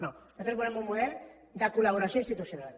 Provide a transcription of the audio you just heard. no nosaltres volem un model de col·laboració institucional